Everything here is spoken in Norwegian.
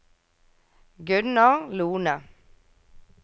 Gunnar Lohne